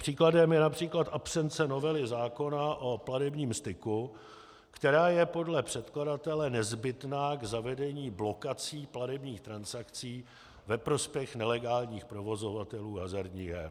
Příkladem je například absence novely zákona o platebním styku, která je podle předkladatele nezbytná k zavedení blokací platebních transakcí ve prospěch nelegálních provozovatelů hazardních her.